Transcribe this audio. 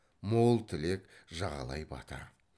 мол тілек жағалай бата